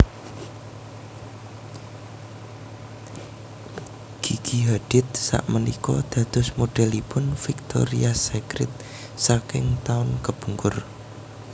Gigi Hadid sakmenika dados modelipun Victoria's Secret saking taun kepungkur